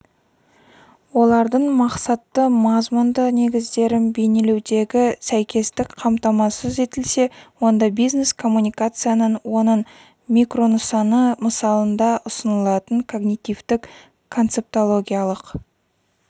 олардың мақсатты мазмұнды негіздерін бейнелеудегі сәйкестік қамтамасыз етілсе онда бизнес коммуникацияның оның микронысаны мысалында ұсынылатын когнитивтік концептологиялық